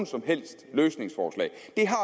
som helst løsningsforslag